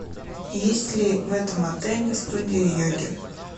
есть ли в этом отеле студия йоги